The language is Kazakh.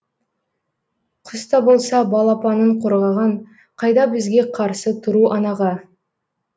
құс та болса балапанын қорғаған қайда бізге қарсы тұру анаға